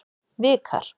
Vikar